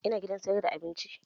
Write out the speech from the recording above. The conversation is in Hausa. Ina gidan sayar da abinci